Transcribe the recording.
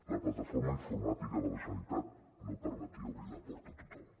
la plataforma informàtica de la generalitat no permetia obrir la porta a tothom